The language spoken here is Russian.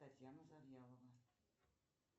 татьяна завьялова